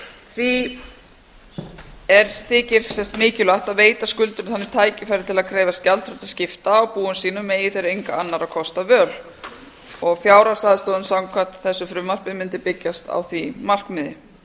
því þykir mikilvægt að veita skuldurum þannig tækifæri til að krefjast gjaldþrotaskipta á búum sínum eigi þeir enga annarra kosta völ og fjárhagsaðstoðin samkvæmt þessu frumvarpi mundi byggjast á því markmiði